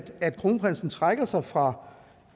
at kronprinsen trækker sig fra